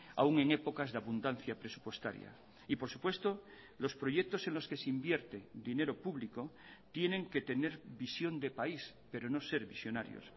aún en épocas de abundancia presupuestaria y por supuesto los proyectos en los que se invierte dinero público tienen que tener visión de país pero no ser visionarios